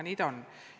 Nii ta on.